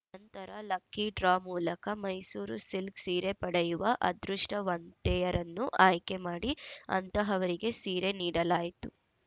ನಂತರ lucky draw ಮೂಲಕ Mysuru silk ಸೀರೆ ಪಡೆಯುವ ಅದೃಷ್ಟವಂತೆಯರನ್ನು ಆಯ್ಕೆ ಮಾಡಿ ಅಂತಹವರಿಗೆ ಸೀರೆ ನೀಡಲಾಯಿತು